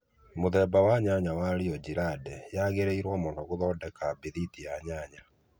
Mũthemba wa nyanya wa Rio ngirande yagĩrĩirũo mũno gũthondeka bĩthiti ya nyanya